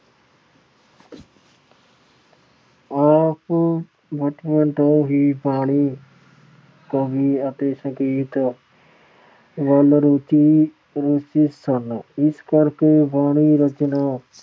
ਆਪ ਬਚਪਨ ਤੋਂ ਹੀ ਬਾਣੀ, ਕਵੀ ਅਤੇ ਸੰਗੀਤ ਵੱਲ ਰੁਚੀ ਅਹ ਰੁਚਿਤ ਸਨ। ਇਸ ਕਰਕੇ ਬਾਣੀ ਰਚਨਾ